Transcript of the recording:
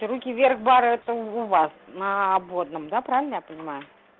то руки вверх бар это у вас на обводном да правильно я понимаю